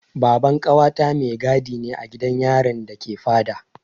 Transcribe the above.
Baban ƙawata mai gadi ne a gidan yarin da ke Fada.